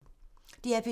DR P2